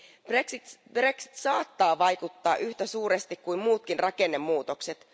Brexit saattaa vaikuttaa yhtä suuresti kuin muutkin rakennemuutokset.